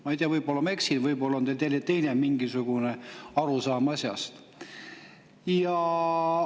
Ma ei tea, võib-olla ma eksin, võib‑olla on teil mingisugune teine arusaam asjast.